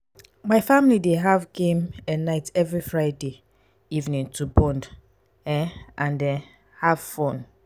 my family dey have game um night every friday evening to bond um and um have fun.